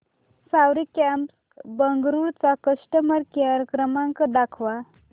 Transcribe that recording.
सवारी cabs Bengaluru चा customer care क्रमांक दाखवा